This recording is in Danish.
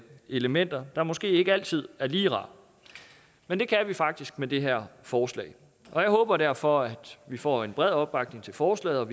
elementer der måske ikke altid er lige rare men det kan vi faktisk med det her forslag og jeg håber derfor at vi får en bred opbakning til forslaget